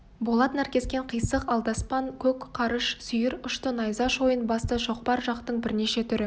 болат наркескен қисық алдаспан көк құрыш сүйір ұшты найза шойын басты шоқпар жақтың бірнеше түрі